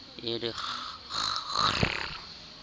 e re kg kg kgrr